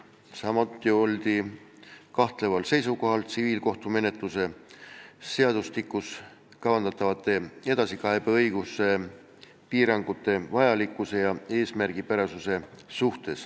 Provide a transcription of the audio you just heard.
Samuti oldi kahtleval seisukohal, kas tsiviilkohtumenetluse seadustikus kavandatavad edasikaebeõiguse piirangud on vajalikud ja eesmärgipärased.